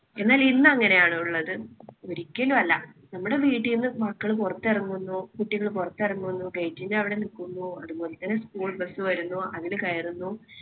എന്നാൽ ഇന്ന് അങ്ങനെയാണോ ഉള്ളത്? ഒരിക്കലും അല്ല. നമ്മുടെ വീട്ടിൽ നിന്ന് മക്കള് പുറത്തിറങ്ങുന്നു കുട്ടികൾ പുറത്തിറങ്ങുന്നു. gate ന്‍റെ അവിടെ നിൽക്കുന്നു. അതുപോലെ തന്നെ school bus വരുന്നു അതില് കയറുന്നു.